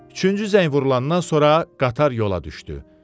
Üçüncü zəng vurulandan sonra qatar yola düşdü.